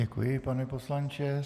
Děkuji, pane poslanče.